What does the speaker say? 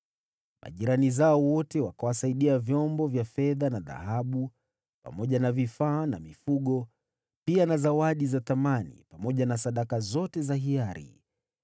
Majirani zao wote wakawasaidia vyombo vya fedha na dhahabu, pamoja na vifaa na mifugo, pia na zawadi za thamani, pamoja na sadaka zote za hiari.